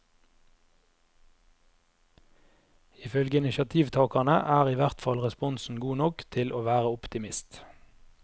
I følge initiativtakerne er i hvertfall responsen god nok til å være optimist.